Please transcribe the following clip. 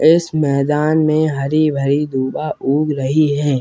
इस मैदान में हरी-भरी दुभा उग रही है।